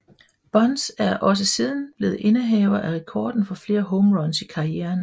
Bonds er også siden blevet indehaver af rekorden for flest home runs i karrieren